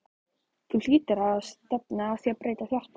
Þú hlýtur á að stefna á að breyta því aftur?